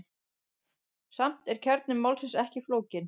Samt er kjarni máls ekki flókinn.